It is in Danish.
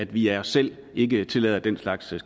vi af os selv ikke tillader den slags